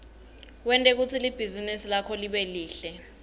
wente kutsi libhizinisi lakho libe lihle